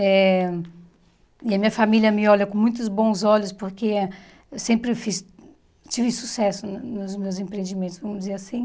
Eh e a minha família me olha com muitos bons olhos, porque eu sempre fiz tive sucesso no nos meus empreendimentos, vamos dizer assim.